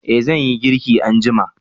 eh zan yi girki anjima